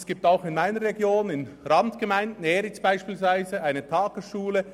Es gibt auch in meiner Region, in Randgemeinden, in Eriz beispielsweise, eine Tagesschule.